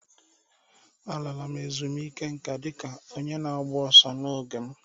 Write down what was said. M lara ezumike nká dị ka onye na-agba ọsọ n'oge m